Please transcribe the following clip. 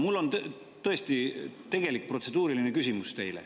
Mul on tõesti tegelik protseduuriline küsimus teile.